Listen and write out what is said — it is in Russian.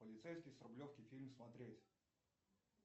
полицейский с рублевки фильм смотреть